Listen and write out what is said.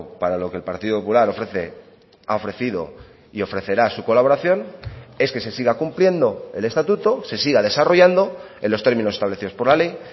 para lo que el partido popular ofrece ha ofrecido y ofrecerá su colaboración es que se siga cumpliendo el estatuto se siga desarrollando en los términos establecidos por la ley